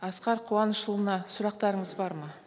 асқар қуанышұлына сұрақтарыңыз бар ма